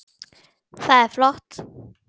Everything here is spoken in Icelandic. Það er flott.